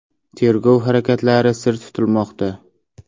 Tergov harakatlari sir tutilmoqda.